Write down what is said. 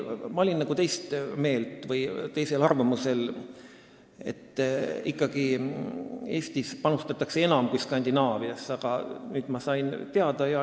Ma olin nagu teist meelt või teisel arvamusel, et Eestis panustatakse ikkagi enam kui Skandinaavias, aga nüüd ma sain teada.